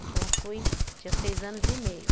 Então, eu fui, tinha seis anos e meio.